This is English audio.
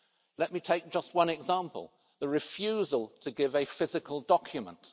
Let me take just one example the refusal to give a physical document.